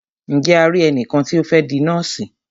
Ǹje a ri ẹnìkan tí o fẹ́ di nọ́ọ̀sì?